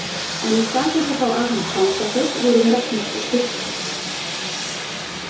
En í stað þess að fá afhent fangaföt vorum við reknir í sturtu.